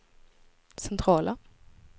centrala